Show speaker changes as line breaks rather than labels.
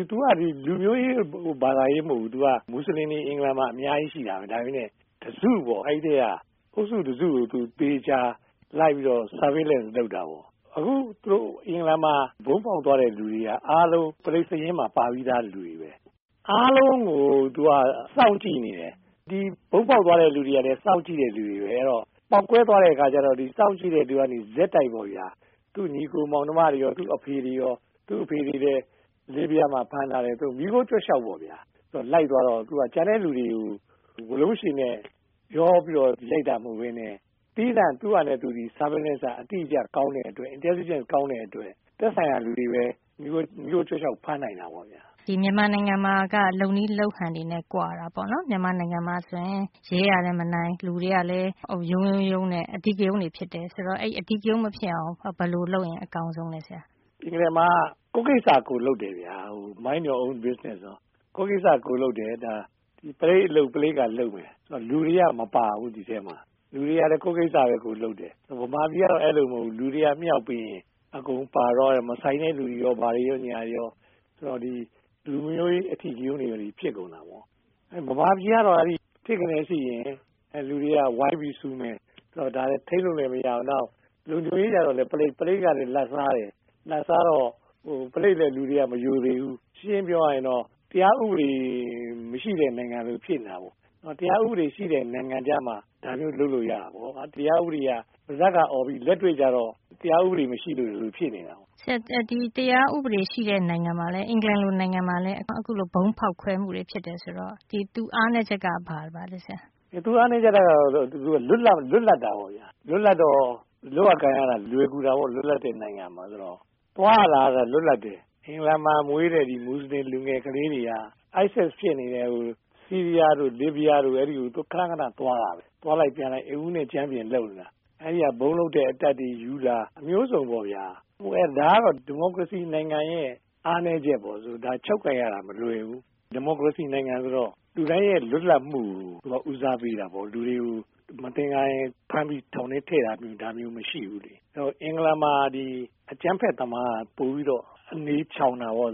သူက လူမျိုးရေးဘာသာရေးမဟုတ်ဘူး။ မွတ်ဆလင်တွေ အင်္ဂလန်မှာအများကြီးရှိတာပဲ ၊ အဲဒီထဲက တစု ပေါ့နော် ၊ အဲဒါကို သေချာ surveillance လုပ်တာပေါ့နော်။ အခုသူတို့ အင်္ဂလန်မှာ ဗုံးပေါက်သွားတဲ့လူတွေက အားလုံးက ပရိတ်သတ်စာရင်းမှာမှာပါပြီးသားလူတွေပဲ။ အားလုံးကိုသူက စောင့်ကြည့်နေတာပေါ့နော် ။ ဗုံးပေါက်သွားတဲ့လူတွေကိုလည်း စောင့်ကြည့်တဲ့အထဲမှာပါတဲ့လူတွေပဲ အဲဒီတော့ ပေါက်ကွဲသွားတဲ့အခါကျတော့ စောင့်ကြည့်တဲ့လူကနေ ဆက်တိုက်ပေါ့ဗျာ သူ့ညီအကိုမောင်နှမတွေရော၊ သူ့အဖေတွေရော ။ သူ့အဖေတွေကိုလည်း လစ်ဗျားမှာဖမ်းထားတယ် အဲလိုမီးခိုးကြွက်လျှောက်ပေါ့ခင်ဗျ ။ အဲလို လိုက်သွားတော့ ကျန်တဲ့လူတွေကို လိုက်တာမဟုတ်ပဲနဲ့ သီးသန့် သူ့ဟာသူ surveillance ကအတိအကျ ကောင်းတဲ့အတွက် Intelligent ကောင်းတဲ့အတွက် သက်ဆိုင်ရာလူတွေပဲ မီးခိုးကြွက်လျှေက်ပေါ့ဖမ်းနိုင်တာပေါ့။
မြန်မာနိုင်ငံမှာက လုပ်နည်းလုပ်ဟန်နဲ့ ကွာတာပေါ့နော့်မြန်မာနိုင်ငံမှာဆိုရင် ရဲကလည်း မနိုင် လူတွေကလည်း ရုန်းရုန်းနဲ့ အဓိကရုဏ်း တွေ ဖြစ်တယ် ဆိုတော့ အဲဒီ အဓိကရုဏ်း မဖြစ်အောင် ဘယ်လိုလုပ်ရင်အကောင်းဆုံးလဲဆရာ။
ဒီနိုင်ငံမှာက ကိုယ့်ကိစ္စကိုယ်လုပ်တယ် “Mind your own Business” ပေ့ါ ကိုယ့်ကိစ္စကိုယ်လုပ်တယ် ပုလိပ်အလုပ် ပုလိပ်ကလုပ်မယ်။ လူတွေက မပါဘူး ဒီအထဲမှာ လူတွေကလည်း ကိုယ့်ကိစ္စကိုယ်လုပ်တယ် မြန်မာပြည်က အဲဒီလိုမဟုတ်ဘူး လူတွေကမြှောက်ပေးရင် အကုန်ပါသွားတယ်။ မဆိုင်တဲ့လူတွေရော ပါသွားတယ် ဆိုတော့ လူမျိုးရေး အဓိကရုဏ်းတွေဖြစ်ကုန်တာပေါ့။ မြန်မာပြည်ကတော့ အဲဒီလို ထစ်ခနဲ ဖြစ်ရင် လူတွေက ဝိုင်းပြီးတော့ ဆူမယ်၊ ဒါတွေက ထိန်းလို့လဲမရဘူး။ လုံခြုံရေးတွေကလည်း ပုလိပ် ကလည်း လာဘ်စားတယ် အဲဒါကြောင့် လူတွေက ပုလိပ်ကိုလည်း မရိုသေဘူး။ ရှင်းရှင်းပြောရရင်တော့ တရားဥပဒေမရှိတဲ့နိုင်ငံ လိုဖြစ်နေတာပေါ့နော်။ တရားဥပဒေရှိတဲ့နိုင်ငံကျမှ အခုလိုမျိုးလုပ်လို့ရတာပေါ့။တရားဥပဒေက ပါးစပ်ကအော်ပြီး လက်တွေ့ကျတော့ တရားဥပဒေမရှိတာမျိုးဖြစ်နေတာပေါ့။
တရားဥပဒေရှိတဲ့နိုင်ငံ အင်္ဂလန်နိုင်ငံမျိုးမှာလည်း အခုလို ဗုံးဖောက်ခွဲမူတွေဖြစ်တယ်ဆိုတော့ သူ့အားနည်းချက်ကဘာလဲဆရာ ။
သူ့အားနည်းချက်က လွတ်လပ်တာပေါ့ခင်ဗျ ၊ လွတ်လပ်တော့ လွယ်ကူတာပေါ့။ လွတ်လပ်တဲ့နိုင်ငံမှာဆိုတော့ လုပ်ရကိုင်ရ သွားရလာရတာလွတ်လပ်တယ်။ အင်္ဂလန်မှာမွေးတဲ့ မွတ်ဆလင်ကလေးတွေက IS ဖြစ်နေတဲ့ ဆီးရီးယားတို့ ၊ လစ်ဗျားတို့ကို ခဏခဏသွားတာပဲ။ အိမ်ဦးနဲ့ ကြမ်းပြင်လို သွားလိုက်ပြန်လိုက်လုပ်နေတာ အဲဒီက ဗုံးလုပ်တဲ့အတတ်ပညာတွေယူလာ မျိုးစုံပေ့ါခင်ဗျ ဒါကတော့ ဒီမိုကရေစီနိုင်ငံရဲ့ အားနည်းချက်ပေါ့ ဒါကို ချုပ်ကိုင်ရတာမလွယ်ဘူး။ ဒီမိုကရေစီနိုင်ငံဆိုတော့ လူတိုင်းရဲ့လွတ်လပ်မှုကို ဦးစားပေးတာပေါ့ မသင်္ကာရင်ဖမ်းပြီးထောင်ထဲထည့်တာ ဒါမျိုးမရှိဘူးလေ အဲဒီတော့ အင်္ဂလန်မှာ အကြမ်းဖက်သမားတွေက ပိုပြီးတော့ အနေချောင်တာပေါ့